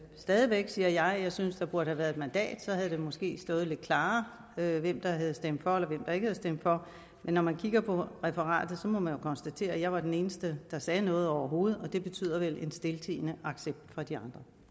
stadig væk siger jeg at jeg synes der burde have været et mandat så havde det måske stået lidt klarere hvem der havde stemt for eller der ikke havde stemt for men når man kigger på referatet må man jo konstatere at jeg var den eneste der sagde noget overhovedet og det betyder vel en stiltiende accept fra de